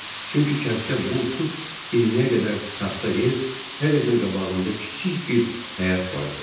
Çünki kənddə vur tut iyirmiyə qədər taxta ev, hər evin qabağında kiçik bir həyət vardı.